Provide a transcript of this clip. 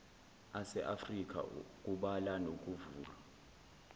aseafrika kubala nokuvulwa